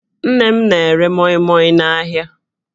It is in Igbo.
Nne m na-ere mọịmọị n'ahịa